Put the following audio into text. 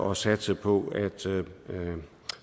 og satse på at